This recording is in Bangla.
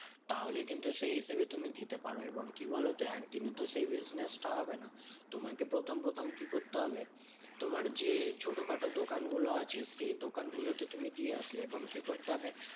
তাহলে কিন্তু সেই হিসেবে তুমি দিতে পারো। এবং কি বলতো? একদিন তো সেই business টা হবে না। তোমাকে প্রথম প্রথম কি করতে হবে? তোমার যে ছোটোখাটো দোকানগুলো আছে সেই দোকানগুলোতে তুমি দিয়ে আসবে। এবং কি করতে হবে?